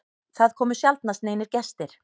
Það komu sjaldnast neinir gestir.